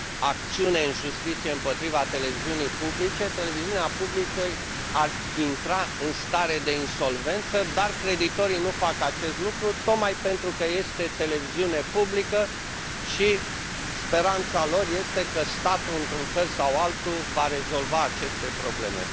acțiune în justiție împotriva Televiunii Publice, Televiziunea Publică ar intra în stare de insolvență, dar creditorii nu fac acest lucru, tocmai pentru că este Televiziune Publică și speranța lor este că statul, într un fel sau altul, va rezolva aceste probleme.